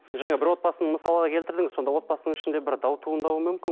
жаңа бір отбасын мысалға келтірдіңіз сонда отбасының ішінде бір дау туындауы мүмкін